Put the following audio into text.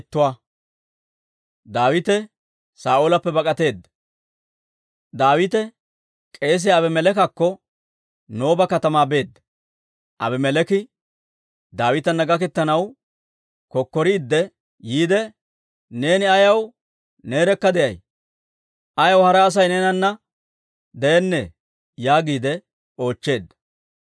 Daawite k'eesiyaa Abimeleekakko Nooba katamaa beedda; Abimeleeki Daawitana gaketanaw kokkoriidde yiide, «Neeni ayaw neerekka de'ay? Ayaw hara Asay neenana de'ennee?» yaagiide oochcheedda.